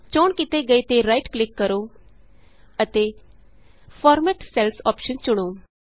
ਚੋਣ ਕੀਤੇ ਗਏ ਤੇ ਰਾਈਟ ਕਲਿਕ ਕਰੋ ਅਤੇ ਫਾਰਮੈਟ ਸੈਲਜ਼ ਅੋਪਸ਼ਨ ਚੁਣੋ